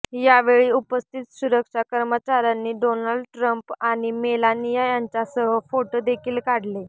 यावेळी उपस्थित सुरक्षा कर्मचाऱ्यांनी डोनाल्ड ट्रम्प आणि मेलानिया यांच्यासह फोटो देखील काढले